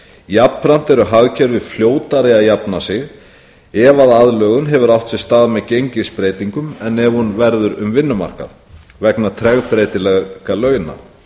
jafnframt eru hagkerfi fljótari að jafna sig ef aðlögun hefur átt sér stað með gengisbreytingum en ef hún verður um vinnumarkað vegna tregbreytileika launa